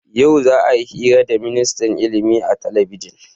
Yau za'a yi hira da ministan ilimi a talabijin.